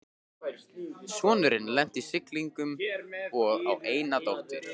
Sonurinn lenti í siglingum og á eina dóttur